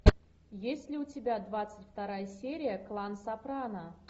есть ли у тебя двадцать вторая серия клан сопрано